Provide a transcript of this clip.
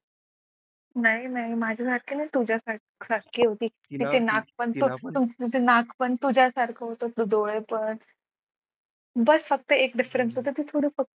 नाही नाही माझ्यासारखी नाही तुझ्यासारखी होती तिचे नाक पण तुझ्यासारखे होते डोळे पण. बस फक्त एक difference होता ते थोडं फक्त